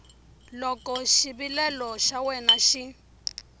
loko xivilelo xa wena xi